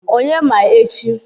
Onye ma echi?